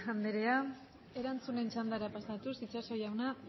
anderea erantzunen txandara pasatuz itxaso jauna